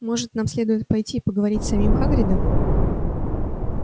может нам следует пойти и поговорить с самим хагридом